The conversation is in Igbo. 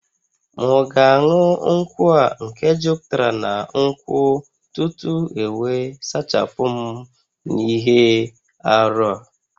M'gāṅu nkwu a nke juputara na nkwu tutu ewe sachapum n'ihe-árú?